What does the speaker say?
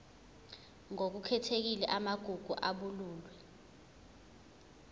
ngokukhethekile amagugu abalulwe